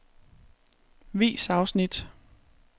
Vis afsnit.